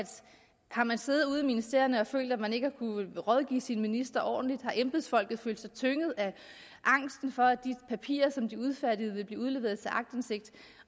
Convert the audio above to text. har man sidder ude i ministerierne og følt at man ikke har kunnet rådgive sin minister ordentligt har embedsfolket følt sig tynget af angsten for at de papirer som de udfærdiger vil blive udleveret til aktindsigt